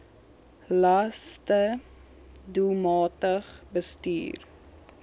laste doelmatig bestuur